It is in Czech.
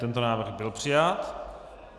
Tento návrh byl přijat.